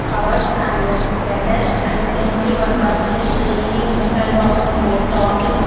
covers and letters and we can see one person is cleaning in front of the post office.